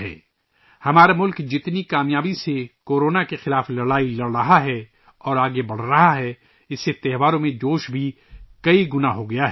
جس کامیابی کے ساتھ ہمارا ملک کورونا کے خلاف لڑائی لڑ رہا ہے اور آگے بڑھ رہا ہے، اُس سے تہواروں میں جوش بھی کئی گنا بڑھ گیا ہے